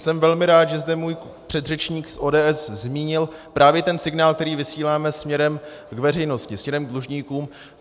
Jsem velmi rád, že zde můj předřečník z ODS zmínil právě ten signál, který vysíláme směrem k veřejnosti, směrem k dlužníkům.